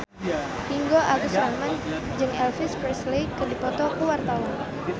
Ringgo Agus Rahman jeung Elvis Presley keur dipoto ku wartawan